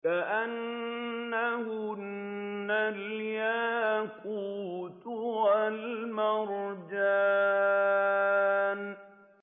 كَأَنَّهُنَّ الْيَاقُوتُ وَالْمَرْجَانُ